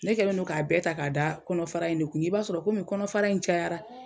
Ne kɛlen don k'a bɛɛ ta k'a da kɔnɔ fara in de kun i b'a sɔrɔ koni kɔnɔfara in cayara